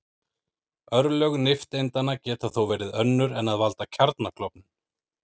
Örlög nifteindanna geta þó verið önnur en að valda kjarnaklofnun.